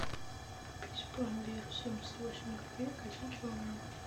купить пломбир семьдесят восемь копеек один килограмм